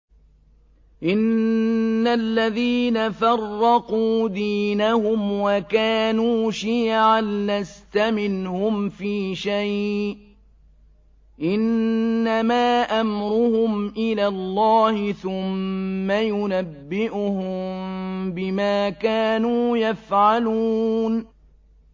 إِنَّ الَّذِينَ فَرَّقُوا دِينَهُمْ وَكَانُوا شِيَعًا لَّسْتَ مِنْهُمْ فِي شَيْءٍ ۚ إِنَّمَا أَمْرُهُمْ إِلَى اللَّهِ ثُمَّ يُنَبِّئُهُم بِمَا كَانُوا يَفْعَلُونَ